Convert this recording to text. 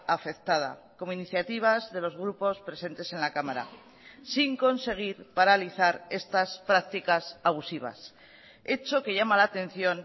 afectada como iniciativas de los grupos presentes en la cámara sin conseguir paralizar estas prácticas abusivas hecho que llama la atención